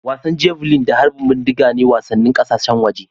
Wasan Javelin da harbin bindiga ne wasannin ƙasashen waje